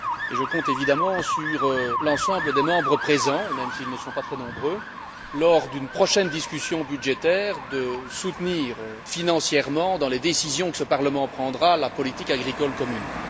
Je compte sur l'ensemble des membres présents même s'ils ne sont pas très nombreux lors d'une prochaine discussion budgétaire, pour soutenir financièrement, dans les décisions que ce Parlement prendra, la politique agricole commune.